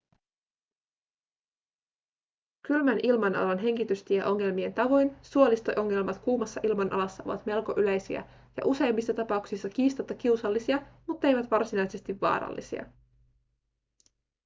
kylmän ilmanalan hengitystieongelmien tavoin suolisto-ongelmat kuumassa ilmanalassa ovat melko yleisiä ja useimmissa tapauksissa kiistatta kiusallisia mutteivät varsinaisesti vaarallisia